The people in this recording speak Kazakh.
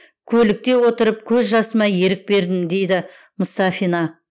көлікте отырып көз жасыма ерік бердім дейді мұстафина